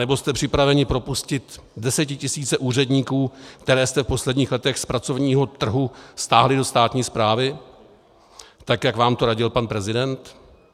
Anebo jste připraveni propustit desetitisíce úředníků, které jste v posledních letech z pracovního trhu stáhli do státní správy, tak jak vám to radil pan prezident?